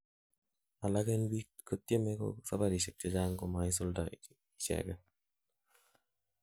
alak en biik kotyeme sabarishek chechang komaisulda icheget